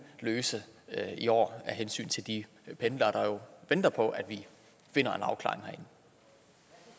løse i år af hensyn til de pendlere der jo venter på at vi finder